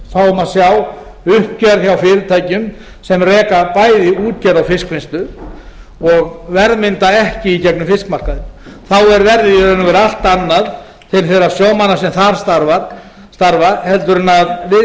fáum að sjá uppgjör hjá fyrirtækjum sem reka bæði útgerð og fiskvinnslu og verðmynda ekki í gegnum fiskmarkaðinn þá er verðið í raun og veru allt annað til þeirra sjómanna sem þar starfa en viðgengst